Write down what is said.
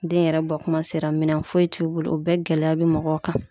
Den yɛrɛ bɔ kuma sera minɛn foyi t'u bolo o bɛɛ gɛlɛya be mɔgɔw kan.